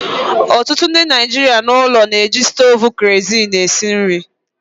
Ọtụtụ ndị Naijiria n'ụlọ na-eji stovu kerosene esi nri